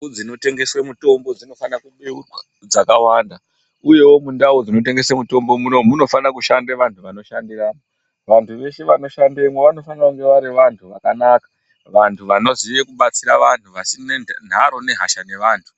Dzimba dzinotengeswa mitombo dzakabeurwa makawanda uyewo mundau munotengeswa mitombo munomu munofanira kushandisa antu vantu veshe vanoshandamo vanofana kunge vari vantu vakanaka vantu vanoziva kubatsira vanhu vasina nharo nehasha nevanhu.